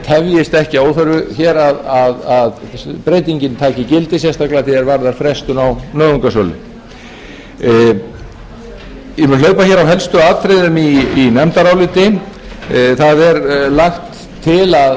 tefjist ekki að óþörfu hér að breytingin taki gildi sérstaklega að því er varðar frestun á nauðungarsölu ég mun hlaupa hér á helstu atriðum í nefndaráliti